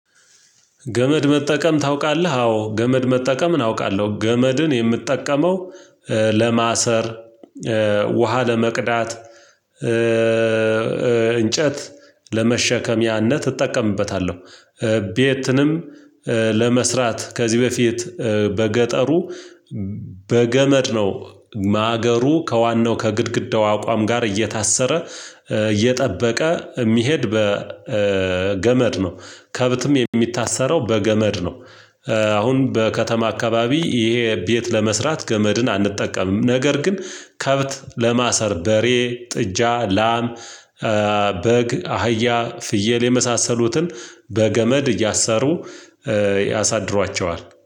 ገመድ መጠቀም ታውቃለህ? አዎ ገመድ መጠቀምን አውቃለሁ። ገመድን የምትጠቀመው ለማሰር ውሃ ለመቅዳት። እንጨት ለመሸከሚያነት እጠቀምበታለሁ። ቤትንም ለመስራት ከዚህ በፊት በገጠሩ በገመድ ነው። ማገሩ ከዋናው ከግድግዳው አቋም ጋር እየታሰረ እየጠበቀ የሚሄድ በገመድ ነው። ከብትም የሚታሰረው በገመድ ነው። አሁን በከተማ አካባቢ ይሄ ቤት ለመስራት ገመድን አንጠቀምም። ነገር ግን ከብት ለማሰር በሬ ጥጃ ላም በግ አህያ ፍየል የመሳሰሉትን በገመድ እያሳሩ ያሳድሯቸዋል